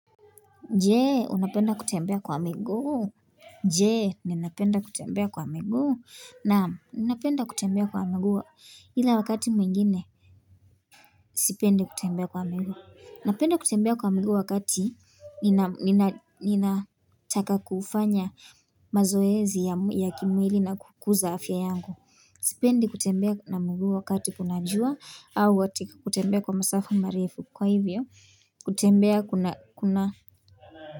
Jee, unapenda kutembea kwa miguu. Je, ninapenda kutembea kwa miguu. Naam, ninapenda kutembea kwa miguu. Ila wakati mwingine, sipendi kutembea kwa miguu. Napenda kutembea kwa miguu wakati, ninataka kufanya mazoezi ya kimwili na kukuza afya yangu. Sipendi kutembea na miguu wakati kuna jua, au wakati kutembea kwa masafa marefu. Kwa hivyo, kutembea kuna.